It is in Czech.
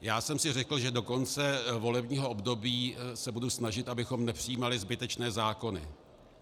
Já jsem si řekl, že do konce volebního období se budu snažit, abychom nepřijímali zbytečné zákony.